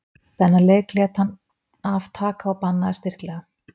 Þennan leik lét hann af taka og bannaði styrklega.